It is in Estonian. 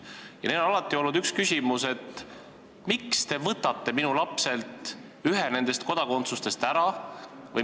Ning neil on alati olnud üks küsimus: miks te võtate minu lapselt ühe nendest kodakondsustest ära?